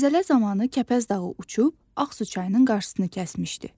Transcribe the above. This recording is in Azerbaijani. Zəlzələ zamanı Kəpəz dağı uçub, Ağsu çayının qarşısını kəsmişdi.